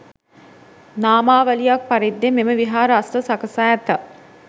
නාමාවලියක් පරිද්දෙන් මෙම විහාර අස්න සකසා ඇත.